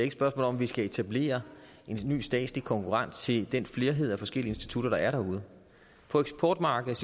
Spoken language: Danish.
et spørgsmål om at vi skal etablere en ny statslig konkurrent til den flerhed af forskellige institutter der er derude på eksportmarkedet